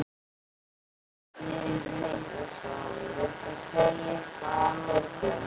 Magnús Hlynur Hreiðarsson: Viltu segja eitthvað að lokum?